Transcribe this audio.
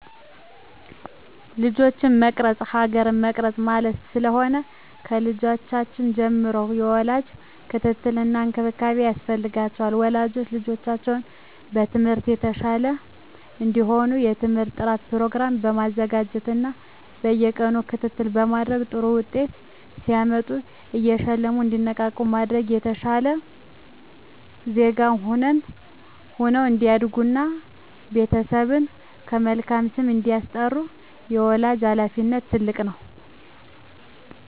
ልጆችን መቅረፅ ሀገር መቅረፅ ማለት ስለሆነ። ከልጅነታቸው ጀምሮ የወላጅ ክትትል እና እንክብካቤ ያስፈልጋቸዋል። ወላጆች ልጆቻቸው በትምህርት የተሻሉ እንዲሆኑ የትምህርት ጥናት ፕሮግራም በማዘጋጀት እና በየቀኑ ክትትል በማድረግ ጥሩ ውጤት ሲያመጡ እየሸለሙ እንዲነቃቁ በማድረግ የተሻለ ዜጋ ሁነው እንዲያድጉ እና ቤተሰብን በመልካም ስም እንዲያስጠሩ የወላጅ ሀላፊነት ትልቅ ነው።